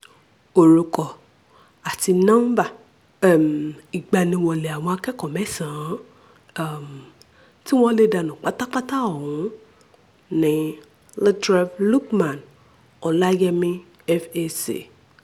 orúkọ àti nọ́ńbà um ìgbaniwọlẹ̀ àwọn akẹ́kọ̀ọ́ mẹ́sàn-án um tí wọ́n lè danú pátápátá ọ̀hún ni lateref lukman ọláyẹ́mí fac